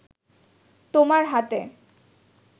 তোমার হাতে